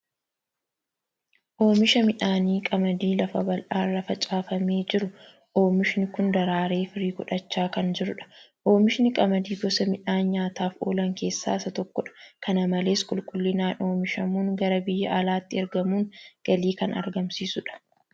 Oomisha midhaan qamadii lafa bal'aa irra facaafamee jiru. Oomishni kun daraaree firii godhachaa kan jirudha. Oomishni qamadii gosa midhaanii nyaataaf oolan keessaa isa tokkodha. Kana malees qulqullinaan oomishamuun gara biyya alaatti eragamuun galii kan argamsiisudha.